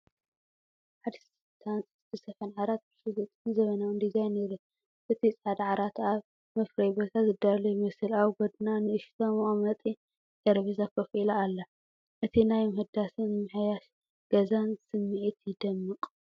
ሓድሽ ዝተሃንጸን ዝተሰፍሐን ዓራት ብስሉጥን ዘመናውን ዲዛይን ይረአ። እቲ ጻዕዳ ዓራት ኣብ መፍረዪ ቦታ ዝዳሎ ይመስል፤ ኣብ ጎድና ንእሽቶ መቐመጢ ጠረጴዛ ኮፍ ኢላ ኣላ። እቲ ናይ ምሕዳስን ምምሕያሽ ገዛን ስምዒት ይደምቕ።